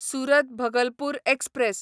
Surat Bhagalpur express